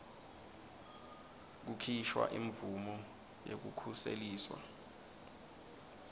kukhishwa imvumo yekukhuseliswa